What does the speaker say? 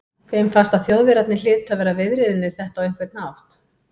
Þeim fannst að Þjóðverjarnir hlytu að vera viðriðnir þetta á einhvern hátt.